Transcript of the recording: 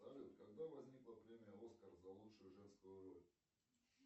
салют когда возникла премия оскар за лучшую женскую роль